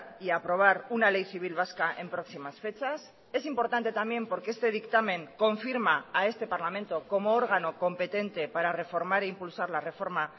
y aprobar una ley civil vasca en próximas fechas es importante también porque este dictamen confirma a este parlamento como órgano competente para reformar e impulsar la reforma